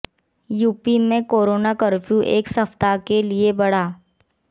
UP में corona curfew एक सप्ताह के लिए बढ़ा